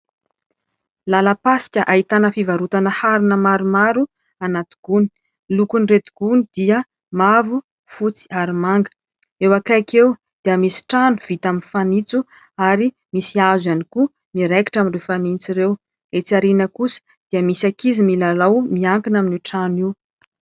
lalam-pasika ahitana fivarotana harina maromaro anaty gony lokony reto gony dia mavo fotsy ary manga eo akaika eo dia misy trano vita amin'ny fanintso ary misy hazo iany koa miraikitra amin'ireo fanintso ireo etsy ariana kosa dia misy akizy milalao miankina amin'io trano io.